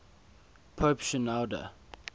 pope shenouda